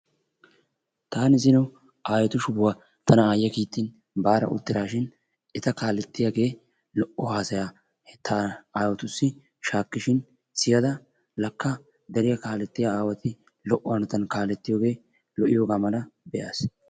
taani zino aayetu shufuwa bada duttidaashin eta kaalettiyagee lo'o haasayaa hanotan kaalettiyogaa be'ada lakka awati lo'o hanotan kaalettiyoge lo'iyoga mala be'aas.